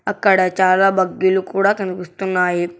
ఇక్కడ చాలా బగ్గీలు కూడా కనిపిస్తున్నాయి.